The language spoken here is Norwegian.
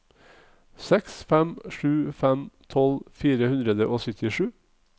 seks fem sju fem tolv fire hundre og syttisju